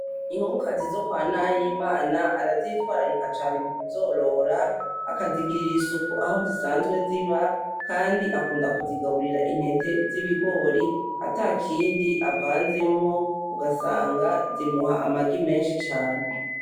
Inkokokazi zo kwa Nahimana arazitwarika cane mukuzorora, akazigirira isuku aho zisanzwe ziba, kandi akunda kuzigaburira intete z'ibigori atakindi avanzemwo , ugasanga zimuha amagi menshi cane